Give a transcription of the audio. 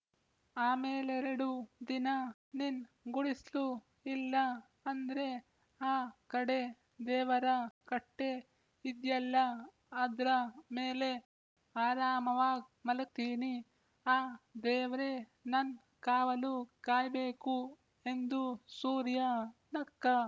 ಆಮೇಲೆರಡು ದಿನ ನಿನ್ ಗುಡಿಸ್ಲು ಇಲ್ಲ ಅಂದ್ರೆ ಆ ಕಡೆ ದೇವರ ಕಟ್ಟೆ ಇದ್ಯಲ್ಲ ಅದ್ರ ಮೇಲೆ ಆರಾಮವಾಗ್ ಮಲಗ್ತೀನಿ ಆ ದೇವ್ರೇ ನನ್ ಕಾವಲು ಕಾಯ್ಬೇಕು ಎಂದು ಸೂರ್ಯ ನಕ್ಕ